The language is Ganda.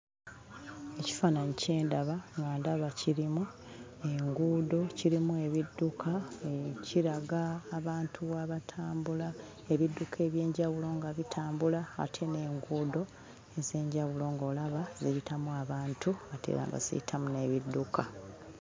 Ekifaananyi kye ndaba nga ndaba kirimu enguudo, kirimu ebidduka, kiraga abantu abatambula, ebidduka eby'enjawulo nga bitambula ate n'enguudo ez'enjawulo ng'olaba ziyitamu abantu ate nga baziyitamu n'ebidduka.